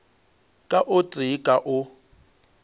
ka o tee ka o